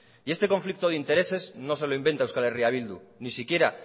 y este conflicto de intereses no se lo inventa euskal herria bildu ni siquiera